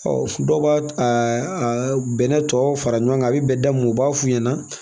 dɔw b'a bɛnɛ tɔ fara ɲɔgɔn kan a bi bɛn da mun ma u b'a f'u ɲɛna